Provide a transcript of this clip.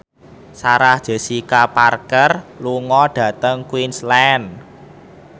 Sarah Jessica Parker lunga dhateng Queensland